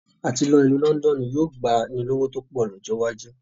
Àti lọ ìlú Lọ́ndọ́ọ́nù yóò gbani lówó tó pọ̀ lọ́jọ́ iwájú